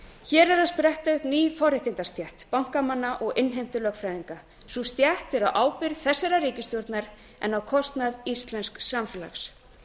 hér er að spretta upp ný forréttindastétt bankamanna og innheimtulögfræðinga sú stétt er á ábyrgð þessarar ríkisstjórnar en á kostnað íslensks samfélags